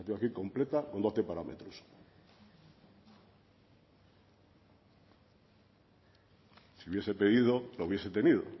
la tengo aquí completa con doce parámetros si hubiese pedido la hubiese tenido